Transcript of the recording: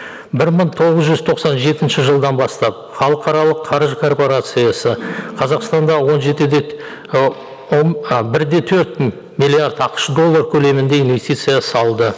бір мың тоғыз жүз тоқсан жетінші жылдан бастап халықаралық қаржы корпорациясы қазақстанда он жеті де а бір де төрт миллиард ақш доллар көлемінде инвестиция салды